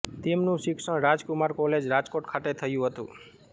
તેમનું શિક્ષણ રાજકુમાર કોલેજ રાજકોટ ખાતે થયું હતું